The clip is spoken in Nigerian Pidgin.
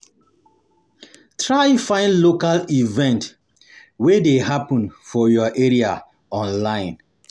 Try find local event wey de happen for your area online